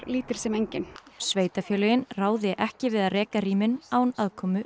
lítil sem engin sveitarfélögin ráði ekki við að reka rýmin án aðkomu